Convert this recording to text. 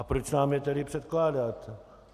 A proč nám je tedy předkládáte?